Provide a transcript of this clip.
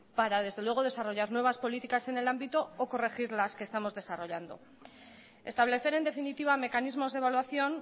para desarrollar nuevas políticas en el ámbito o corregir las que estamos desarrollando establecer en definitiva mecanismos de evaluación